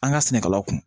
An ka sɛnɛkɛlaw kun